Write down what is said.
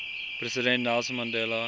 president nelson mandela